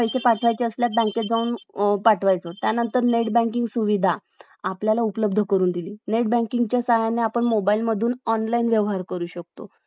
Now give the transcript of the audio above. अं शिक्षणाचं continue करतील. तर अं म्हणजे एक~ एक योग्य वेळेस ती गोष्ट त्यांना मिळत नाही. आपण म्हणू शकतो. तर खरचं हे खूप म्हणजे,